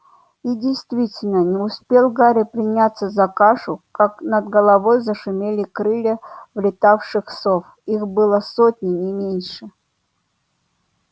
и действительно не успел гарри приняться за кашу как над головой зашумели крылья влетевших сов их была сотня не меньше